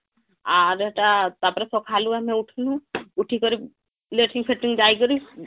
ଆର ହେଟା ତାପରେ ସଖାଳୁ ଆମେ ଉଠିଲୁ ଉଠିକରି latrine ଫେଂଟରିଂ ଯାଇ କରି